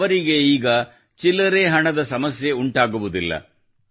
ಅವರಿಗೆ ಈಗ ಚಿಲ್ಲರೆ ಹಣದ ಸಮಸ್ಯೆ ಆಗುವುದಿಲ್ಲ